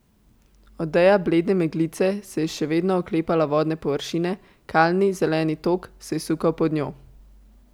Odeja blede meglice se je še vedno oklepala vodne površine, kalni zeleni tok se je sukal pod njo.